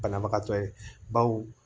Banabagatɔ ye baw